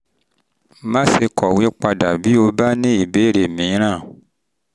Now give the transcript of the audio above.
má ṣe kọ̀wé padà bí o bá ní ìbéèrè mìíràn